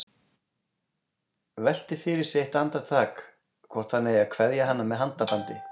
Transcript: Veltir fyrir sér eitt andartak hvort hann eigi að kveðja hana með handabandi.